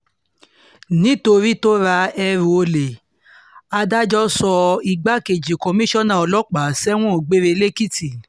nítorí tó ra ẹrù olè adájọ́ sọ igbákejì kọmíṣánná ọlọ́pàá sẹ́wọ̀n gbére lẹ́kìtì